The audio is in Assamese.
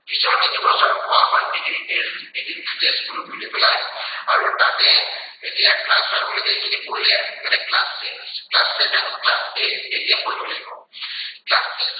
পিছৰ তিনিবছৰ কোৱা হয় middle age এৰ middle test group বুলি পেলায়। আৰু তাতে এতিয়া class five লৈকে এইখিনি পঢ়িলে। তাতে class six, class seven, class eight এতিয়া পঢ়িব লাগিব। class